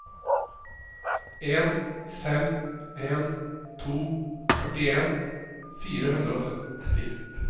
en fem en to førtien fire hundre og sytti